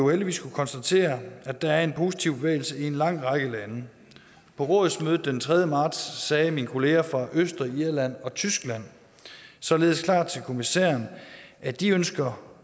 heldigvis kunnet konstatere at der er en positiv bevægelse i en lang række lande på rådsmødet den tredje marts sagde mine kollegaer fra østrig irland og tyskland således klart til kommissæren at de ønsker